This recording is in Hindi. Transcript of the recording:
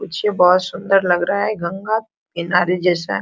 मुझे बहोत सुन्दर लग रहा है गंगा किनारे जैसा।